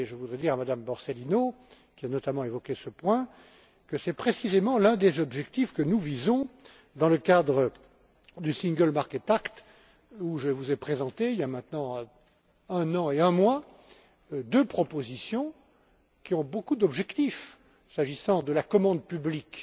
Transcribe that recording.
Je voudrais dire à Madame Borsellino, qui a, notamment, évoqué ce point, que c'est précisément l'un des objectifs que nous visons, dans le cadre du single market act où je vous ai présenté, il y a maintenant un an et un mois, deux propositions qui ont de nombreux objectifs, s'agissant de la commande publique,